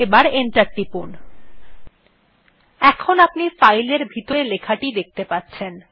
এখন আপনি ফাইল টির ভিতরের লেখাটি দেখতে পাচ্ছেন